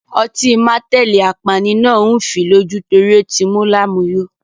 Ọtí mateli apani náà ń fii lójú torí ó ti mú lámùyo.